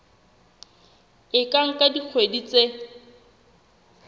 e ka nka dikgwedi tse